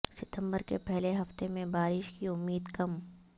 ستمبر کے پہلے ہفتے میں بارش کی امید کم